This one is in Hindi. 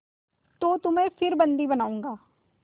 तो तुम्हें फिर बंदी बनाऊँगा